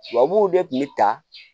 Tubabuw de kun be ta